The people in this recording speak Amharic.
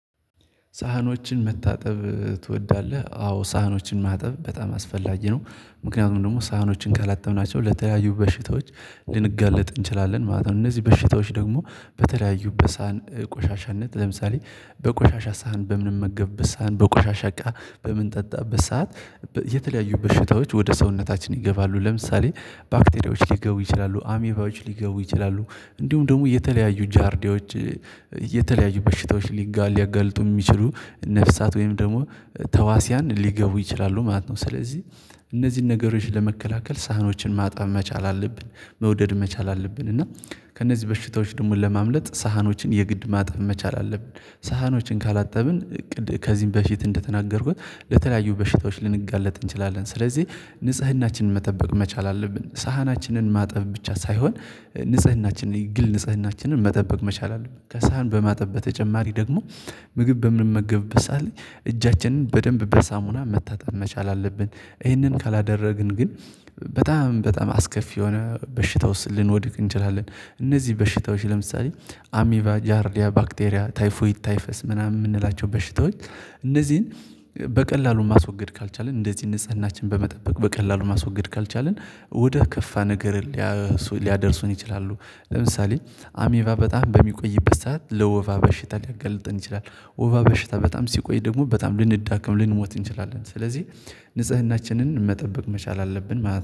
ሳህኖችን መታጠብ ትወዳለህ? አዎ ሳህኖችን ማጠብ በጣም አስፈላጊ ነው ምክንያቱም ደግሞ ሳህኖችን ካላጠብናቸው ለተለያዩ በሽታዎች ልንጋለጥ እንችላለን ማለት ነው። እነዚህ በሽታዎች ደግሞ በተለያዩ በሳን ቆሻሻነት ለምሳሌ በቆሻሻ ሳህን በምንመገብበት ሳህን በቆሻሻ እቃ በምንጠጣበት ሰዓት የተለያዩ በሽታዎች ወደ ሰውነታችን ይገባሉ ለምሳሌ ባክቴሪያዎች ሊገቡ ይችላሉ አሜባዎች ሊገቡ ይችላሉ። እንዲሁም ደግሞ የተለያዩ ጃርዲዎች የተለያዩ በሽታዎች ሊጋል ሊያጋልጡ የሚችሉ ነፍሳት ወይም ደግሞ ተዋስያን ሊገቡ ይችላሉ ማለት ነው። ስለዚህ እነዚህን ነገሮች ለመከላከል ሳህኖችን ማጣብ መቻል አለብን መውደድ መቻል አለብን እና ከእነዚህ በሽታዎች ደግሞ ለማምለጥ ሳህኖችን የግድ ማጠብ መቻል አለብን። ሳህኖችን ካላጠብን ከዚህም በፊት እንደተናገርኩት ለተለያዩ በሽታዎች ልንጋለጥ እንችላለን ስለዚህ ንጽህናችንን መጠበቅ መቻል አለብን። ሳህናችንን ማጠብ ብቻ ሳይሆን ንጽህናችንን የግል ንጽህናችንን መጠበቅ መቻል አለብን። ከሳህን በማጠብ በተጨማሪ ደግሞ ምግብ በምንመገበበት ሳዓት እጃችንን በደንብ በሳሙና መታጠብ መቻል አለብን። ይህንን ካላደረግን ግን በጣም አስከፊ የሆነ በሽታ ውስጥ ልንወድቅ እንችላለን። እነዚህ በሽታዎች ለምሳሌ አሚባጃሪያ ባክቴሪያ ታይፎይት ታይፈስ ምናምን የምንላቸው በሽታዎች እነዚህን በቀላሉ ማስወገድ ካልቻልን እንደዚህ ንጽህናችን በመጠበቅ በቀላሉ ማስወገድ ካልቻልን ወደ ከፋ ነገር ሊያደርሱን ይችላሉ። ለምሳሌ አሚቫ በጣም በሚቆይበት ሰዓት ለወፋ በሽታ ሊያገለጥን ይችላል ወፋ በሽታ በጣም ሲቆይ ደግሞ በጣም ልንዳክም ልንሞት እንችላለን። ስለዚህ ንጽህናችንን መጠበቅ መቻል አለብን ማለት